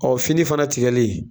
fini fana tigɛli